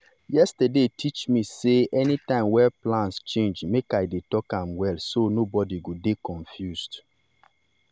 yesterday teach me sey anytime wey plans change make i dey talk am well so nobody go dey confused.